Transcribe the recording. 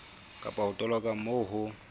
kapa ho toloka moo ho